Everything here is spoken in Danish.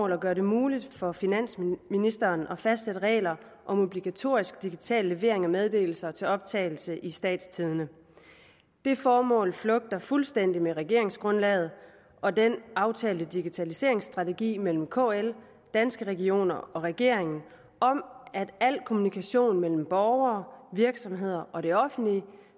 at gøre det muligt for finansministeren at fastsætte regler om obligatorisk digital levering af meddelelser til optagelse i statstidende det formål flugter fuldstændig med regeringsgrundlaget og den aftalte digitaliseringsstrategi mellem kl danske regioner og regeringen om at al kommunikation mellem borgere virksomheder og det offentlige